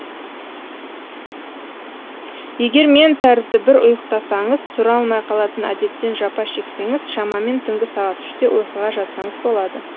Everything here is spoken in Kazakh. егер мен тәрізді бір ұйықтасаңыз тұра алмай қалатын әдеттен жапа шексеңіз шамамен түнгі сағат үште ұйқыға жатсаңыз болады